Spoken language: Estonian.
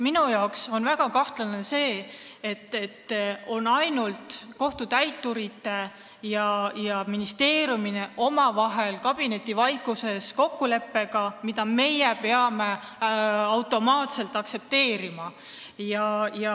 Minu arvates on väga kahtlane, et tegu on kohtutäiturite ja ministeeriumi kabinetivaikuses sündinud kokkuleppega, mida meie peame nagu automaatselt aktsepteerima.